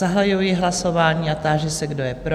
Zahajuji hlasování a táži se, kdo je pro?